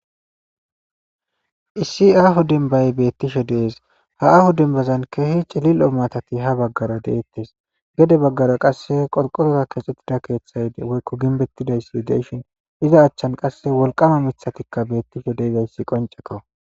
Hssi aahu denbay beettisho dees haahu dembazan keehi cilil'o matati ha baggara deettes gede baggara qasse qolqotoza keexxettida keeththayde woykko ginbettidayssi deyshin iza achchan qasse wolqama mithatikka beettisho deedayssi qonceko.